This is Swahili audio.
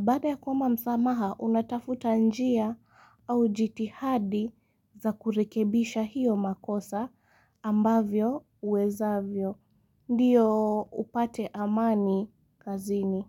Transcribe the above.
Baada ya kuomba msamaha unatafuta njia au jitihadi za kurekebisha hiyo makosa ambavyo uwezavyo. Ndiyo upate amani kazini.